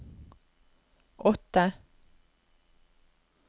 åtte